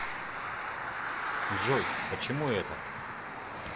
джой почему это